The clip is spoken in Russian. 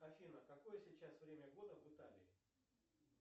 афина какое сейчас время года в италии